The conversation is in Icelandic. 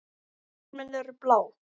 Blómin eru blá.